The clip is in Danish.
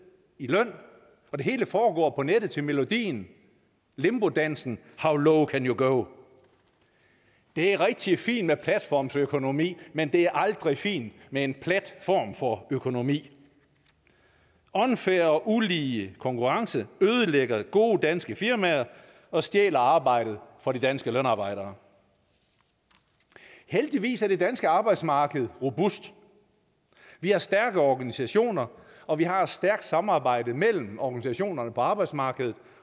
i løn og det hele foregår på nettet til melodien limbodansen how low can you go det er rigtig fint med platformsøkonomi men det er aldrig fint med en plat form for økonomi unfair og ulige konkurrence ødelægger gode danske firmaer og stjæler arbejdet fra de danske lønarbejdere heldigvis er det danske arbejdsmarked robust vi har stærke organisationer og vi har et stærkt samarbejde mellem organisationerne på arbejdsmarkedet